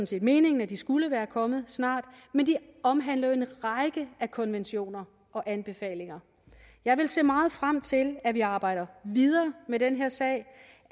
set meningen at de skulle komme snart men de omhandler jo en række konventioner og anbefalinger jeg vil se meget frem til at vi arbejder videre med den her sag